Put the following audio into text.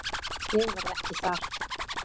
Ég verð ekki þar.